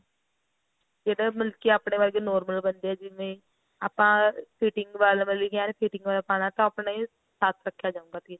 ਜਿਹੜਾ ਮਤਲਬ ਕੀ ਆਪਣੇ ਵਰਗੇ normal ਬੰਦੇ ਨੇ ਜਿਵੇਂ ਆਪਾਂ fitting ਵੱਲ ਵਾਲੀ ਵੀ ਏਨ fitting ਵੱਲ ਪਾਉਣਾ ਤਾਂ ਉਹ ਆਪਣੇ ਸੱਤ ਰੱਖਿਆ ਜਾਂਦਾ ਤੀਰਾ